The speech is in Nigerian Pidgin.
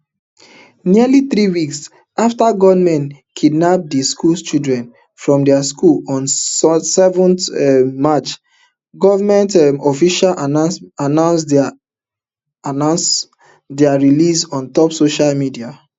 nearly three weeks afta gunmen kidnap di school children from dia school on seventh um march goment um officials announce dia announce dia released ontop social media